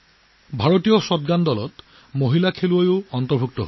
Indian shotgun দলত আমাৰ shooter কন্যাও অন্তৰ্ভুক্ত কৰা হৈছে